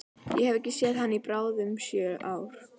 Ég hef ekki séð hana í bráðum sjö ár.